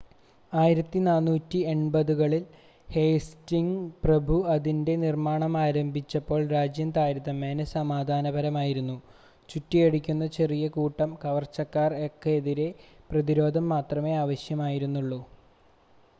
1480-കളിൽ Hastings പ്രഭു അതിൻ്റെ നിർമ്മാണം ആരംഭിച്ചപ്പോൾ രാജ്യം താരതമ്യേന സമാധാനപരമായിരുന്നു ചുറ്റിയടിക്കുന്ന ചെറിയ കൂട്ടം കവർച്ചക്കാർക്ക് എതിരെ പ്രതിരോധം മാത്രമേ ആവശ്യമായിരുന്നുള്ളൂ